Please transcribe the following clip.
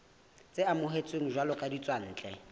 tse amohetsweng jwalo ka ditswantle